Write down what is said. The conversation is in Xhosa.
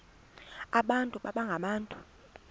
abantu baba ngabantu